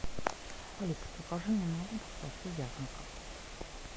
алиса закажи мне на дом колбасу вязанка